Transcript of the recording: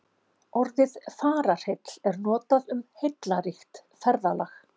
Orðið fararheill er notað um heillaríkt ferðalag.